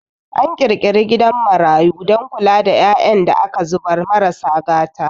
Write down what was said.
An ƙirƙiri gidan marayu don kula da ƴaƴan da aka zubar marasa gata